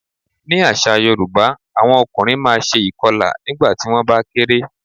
Ní àṣà Yorùbá, àwọn ọkùnrin máa ṣe ìkọlà nígbà tí wón bá kéré.